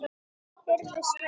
Heyrðu, Svenni!